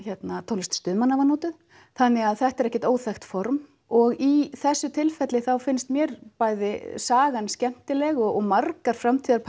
tónlist stuðmanna var notuð þannig að þetta er ekki óþekkt formaður og í þessu tilfelli þá finnst mér bæði sagan skemmtileg og margar